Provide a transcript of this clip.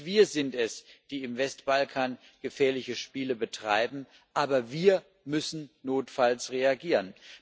Nicht wir sind es, die im Westbalkan gefährliche Spiele betreiben aber wir müssen notfalls reagieren.